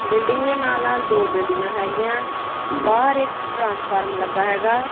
Building ਦੇ ਨਾਲ ਨਾਲ ਦੋ ਬਿਲਡਿੰਗਾਂ ਹੈਗੀਯਾਂ ਬਾਹਰ ਇੱਕ ਟ੍ਰਾਂਸਫਾਰਮਰ ਲੱਗਾ ਹੈਗਾ।